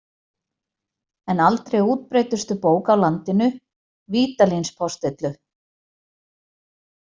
En aldrei útbreiddustu bók á landinu, Vídalínspostillu.